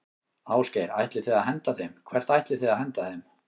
Ásgeir: Ætlið þið að henda þeim, hvert ætlið þið að henda þeim?